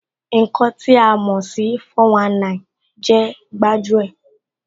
Ǹkan tí a mò sí 419 jẹ́ gbájú ẹ̀